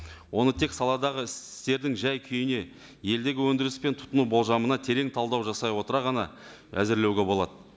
оны тек саладағы істердің жай күйіне елдегі өндіріс пен тұтыну болжамына терең талдау жасай отыра ғана әзірлеуге болады